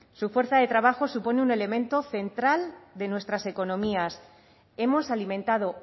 su fuerza de trabajo supone un elemento central de nuestras economías hemos alimentado